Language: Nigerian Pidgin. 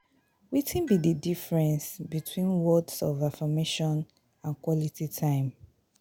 Wetin be di difference between words of affirmation and quality time?